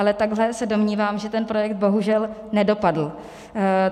Ale takhle se domnívám, že ten projekt bohužel nedopadl.